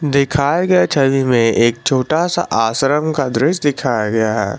दिखाए गए छवि में एक छोटा सा आश्रम का दृश्य दिखाया गया है।